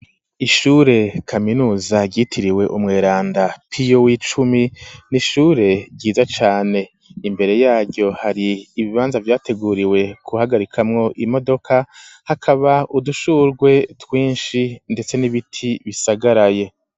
Ishure kaminuza ryitiriwe Umweranda Pio w'icumi, n'ishure ryiza cane. Imbere yaryo, har'ibibanza vyateguriwe guhagarikamwo imodoka, hakaba udushurwe twinshi ndetse n'ibiti bisagaraye.